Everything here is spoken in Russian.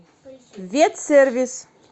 ветсервис